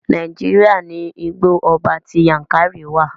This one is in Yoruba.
Nàíjíríà ní Igbó ọba ti Yankari wa.